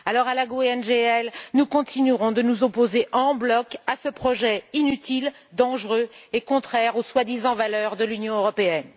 Alors à la GUE NGL, nous continuerons de nous opposer en bloc à ce projet inutile, dangereux et contraire aux prétendues valeurs de l'Union européenne.